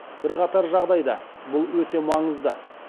бірқатар жағдайда бұл өте маңызды